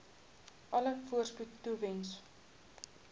alle voorspoed toewens